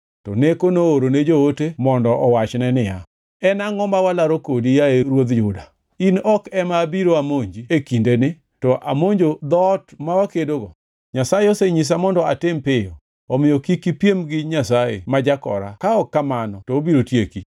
To Neko noorone joote mondo owachne niya, “En angʼo ma walaro kodi yaye ruodh Juda? In ok ema abiro amonji e kindeni, to amonjo dhoot ma wakedogo. Nyasaye osenyisa mondo atim piyo omiyo kik ipiem gi Nyasaye ma jakora ka ok kamano to obiro tieki.”